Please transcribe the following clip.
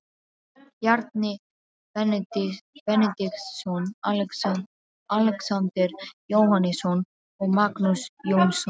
Bjarni Benediktsson, Alexander Jóhannesson og Magnús Jónsson.